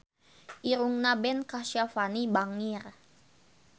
Irungna Ben Kasyafani bangir